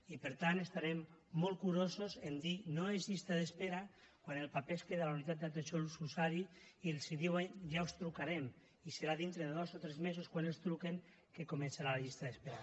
i per tant serem molt curosos a dir no és llista d’espera quan el paper es queda a la unitat d’atenció a l’usuari i els diuen ja us trucarem i serà dintre de dos o tres mesos quan els truquin que començarà la llista d’espera